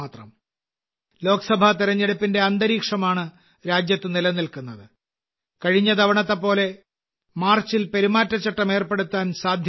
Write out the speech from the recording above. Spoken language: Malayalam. ലോക്സഭാ തെരഞ്ഞെടുപ്പിന്റെ അന്തരീക്ഷമാണ് രാജ്യത്ത് നിലനിൽക്കുന്നത് കഴിഞ്ഞ തവണത്തെ പോലെ മാർച്ചിൽ പെരുമാറ്റച്ചട്ടം ഏർപ്പെടുത്താൻ സാധ്യതയുണ്ട്